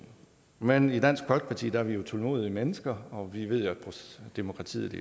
men i dansk folkeparti er vi jo tålmodige mennesker og vi ved at demokratiet